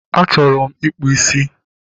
Achọrọ m ịkpụ ísí